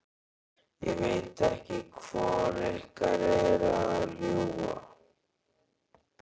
Ég veit ekki hvor ykkar er að ljúga.